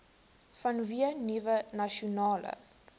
vanweë nuwe nasionale